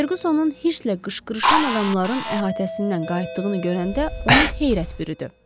Ferqusunun hisslə qışqırışan adamların əhatəsindən qayıtdığını görəndə onu heyrət bürüdü.